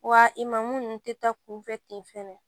Wa i ma munnu tɛ taa kunfɛ ten fɛnɛ